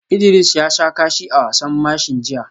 Idris ya sha kashi a wasan mashin jiya